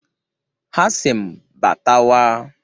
Ha a sị m "Batawa!"